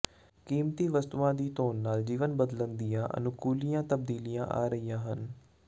ਕੀਮਤੀ ਵਸਤੂਆਂ ਦੀ ਧੋਣ ਨਾਲ ਜੀਵਨ ਬਦਲਣ ਦੀਆਂ ਅਨੁਕੂਲੀਆਂ ਤਬਦੀਲੀਆਂ ਆ ਰਹੀਆਂ ਹਨ